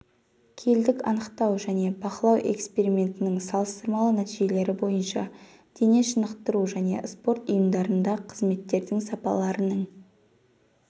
келдік анықтау және бақылау экспериментінің салыстырмалы нәтижелері бойынша дене шынықтыру және спорт ұйымдарында қызметтердің сапаларының